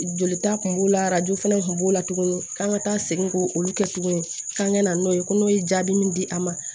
Jolita kun b'o la arajo fana tun b'o la tuguni k'an ka taa segin k'o kɛ tuguni k'an ka na n'o ye ko n'o ye jaabi min di a ma